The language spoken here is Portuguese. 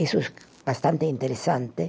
Isso, bastante interessante.